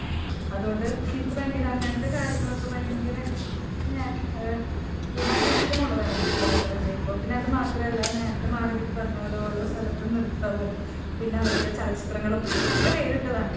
അതുകൊണ്ടു ശരിക്കു എനിക്ക് അങ്ങനത്തെ കാര്യങ്ങളൊക്കെ ഭയങ്കര ഞാൻ ഏഹ് ഭയങ്കര ഇഷ്ടമെന്നുള്ളതാണ്. യാത്ര ചെയ്യുമ്പോൾ പിന്നെ എനിക്കതുമാത്രമല്ല നേരത്തെ മാർഗരറ്റ് പറഞ്ഞപോലെ ഓരോ സ്ഥലത്തെ നിർത്തവും. പിന്നെ അവിടുത്തെ ചലച്ചിത്രങ്ങളും ഒക്കെ വേറിട്ടതാണ്.